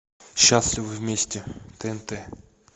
счастливы вместе тнт